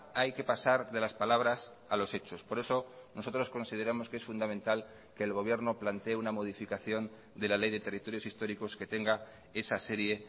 hay que pasar de las palabras a los hechos por eso nosotros consideramos que es fundamental que el gobierno plantee una modificación de la ley de territorios históricos que tenga esa serie